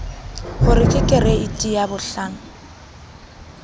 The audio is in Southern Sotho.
ho re ke kereiti yabohlano